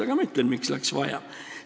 Aga ma ütlen, miks läks vaja.